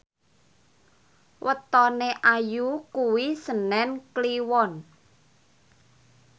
wetone Ayu kuwi senen Kliwon